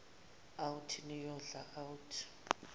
out niyodla out